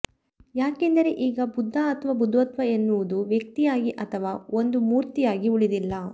ಯಾಕೆಂದರೆ ಈಗ ಬುದ್ಧ ಅಥವಾ ಬುದ್ಧತ್ವ ಎನ್ನುವುದು ವ್ಯಕ್ತಿಯಾಗಿ ಅಥವಾ ಒಂದು ಮೂರ್ತಿಯಾಗಿ ಉಳಿದಿಲ್ಲ